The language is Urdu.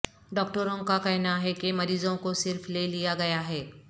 ڈاکٹروں کا کہنا ہے کہ مریضوں کو صرف لے لیا گیا ہے